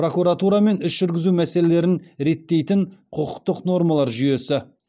прокуратура мен іс жүргізу мәселелерін реттейтін құқықтық нормалар жүйесі